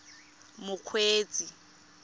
mokgweetsi